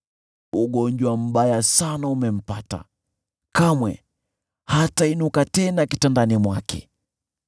“Ugonjwa mbaya sana umempata, kamwe hatainuka tena kitandani mwake.”